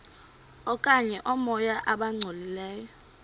okanye oomoya abangcolileyo